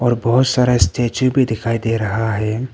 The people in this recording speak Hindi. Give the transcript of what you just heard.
तो बहुत सारा स्टेच्यू भी दिखाई दे रहा है।